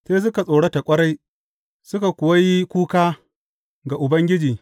Sai suka tsorata ƙwarai, suka kuwa yi kuka ga Ubangiji.